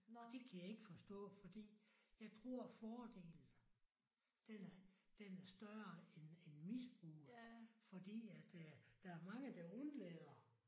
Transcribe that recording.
Og det kan jeg ikke forstå fordi jeg tror fordelen den er den er større end end misbruget fordi at øh der er mange der undlader